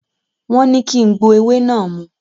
Wọ́n ní kí n gbo ewé náà mu.